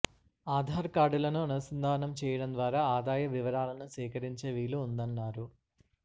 ఆధార్ కార్డులను అనుసంధానం చేయడం ద్వారా ఆదాయ వివరాలను సేకరించే వీలు ఉందన్నారు